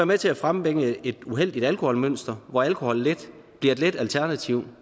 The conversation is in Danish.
med til at frembringe et uheldigt alkoholmønster hvor alkohol bliver et let alternativ